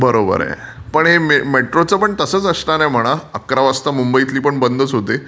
बरोबर आहे. पण हे मेट्रोचं पण तसंचं असणार आहे म्हणा. अकरा वाजता पण मुंबईतले पण बंद होते.